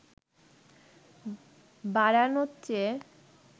বাড়ানোর চেয়ে